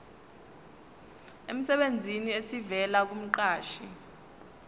emsebenzini esivela kumqashi